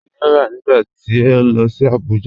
Kíni o rá nígbà tí o lọ sí Àbújà?